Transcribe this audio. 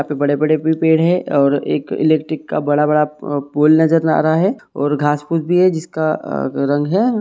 यहां पे बड़े- बड़े भी पेड़ है और एक इलेक्ट्रिक का बड़ा- बड़ा पोल नजर आ रहा है और घास पूस भी है और जिसका का रंग है।